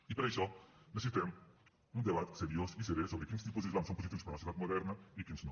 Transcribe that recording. i per això necessitem un debat seriós i seré sobre quins tipus d’islam són positius per a una societat moderna i quins no